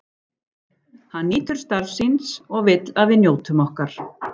Hann nýtur starfs síns og vill að við njótum okkar.